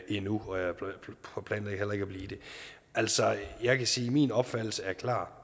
endnu og jeg planlægger heller ikke at blive det altså jeg kan sige at min opfattelse er klar